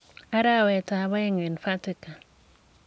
Arawetab aeng. eng Vatican.